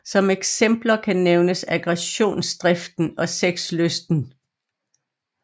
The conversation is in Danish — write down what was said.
Som eksempler kan nævnes aggressionsdriften og sexlysten